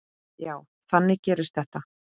Já, þannig gerist þetta.